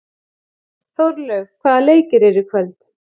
Þórlaug, hvaða leikir eru í kvöld?